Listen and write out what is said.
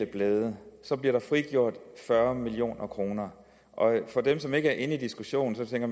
blade bliver der frigjort fyrre million kroner dem som ikke er inde i diskussionen tænker